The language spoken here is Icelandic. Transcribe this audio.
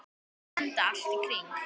Enda allt í kring.